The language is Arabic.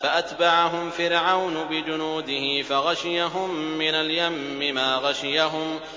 فَأَتْبَعَهُمْ فِرْعَوْنُ بِجُنُودِهِ فَغَشِيَهُم مِّنَ الْيَمِّ مَا غَشِيَهُمْ